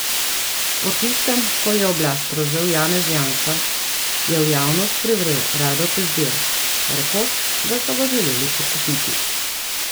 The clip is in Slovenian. Po tistem, ko je oblast prevzel Janez Janša, je v javnost privrel Rado Pezdir, rekoč, da so ga želeli podkupiti.